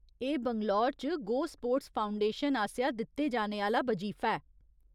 एह् बैंगलोर च go sports foundation आसेआ दित्ते जाने आह्‌ला बजीफा ऐ।